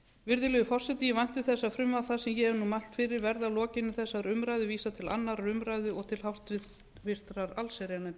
virðulegi forseti ég vænti þess að frumvarpi það sem ég hef nú mælt fyrir verði að lokinni þessari umræðu vísað til annarrar umræðu og til háttvirtrar allsherjarnefndar